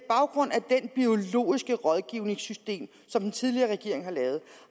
biologiske rådgivningssystem som den tidligere regering har lavet